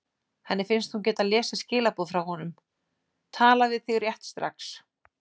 Henni finnst hún geta lesið skilaboð frá honum: Tala við þig rétt strax.